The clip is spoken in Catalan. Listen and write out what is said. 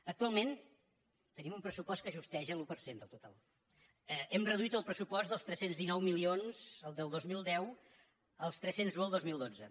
actualment tenim un pressupost que justeja l’un per cent del total hem reduït el pressupost dels tres cents i dinou milions del dos mil deu als tres cents i un del dos mil dotze